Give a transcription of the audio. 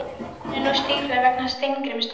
Í útfallinu er nú stífla vegna Steingrímsstöðvar.